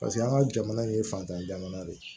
Paseke an ka jamana in ye fatan ye jamana de ye